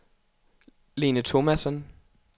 Lene Thomasen